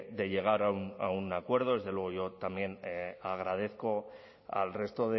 de llegar a un acuerdo desde luego yo también agradezco al resto